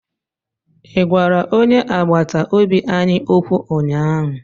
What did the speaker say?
ị gwara onye agbata obi anyị okwu ụnyaahụ?